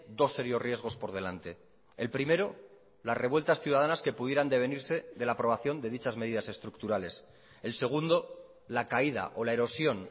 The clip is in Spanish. dos serios riesgos por delante el primero las revueltas ciudadanas que pudieran devenirse de la aprobación de dichas medidas estructurales el segundo la caída o la erosión